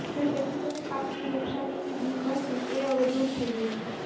ખેડુતોને પાકની નુકશાનની બીક હતી એ દુર થઇ ગઇ છે